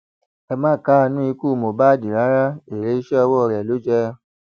ẹ má káàánú ikú mohbad rárá èrè iṣẹ ọwọ rẹ ló jẹ